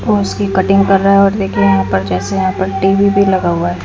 कुश की कटिंग कर रहा है और देखिये यहां पर जैसे यहां पर टी_वी भी लगा हुआ है।